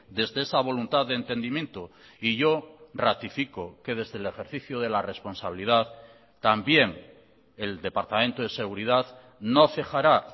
desde esa voluntad de entendimiento y yo ratifico que desde el ejercicio de la responsabilidad también el departamento de seguridad no cejará